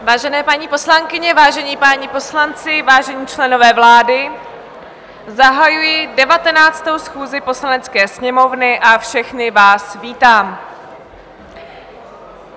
Vážené paní poslankyně, vážení páni poslanci, vážení členové vlády, zahajuji 19. schůzi Poslanecké sněmovny a všechny vás vítám.